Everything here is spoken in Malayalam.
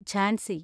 ഝാൻസി